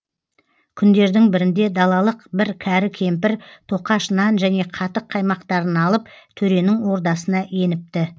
күндердің бірінде далалық бір кәрі кемпір тоқаш нан және қатық қаймақтарын алып төренің ордасына еніпті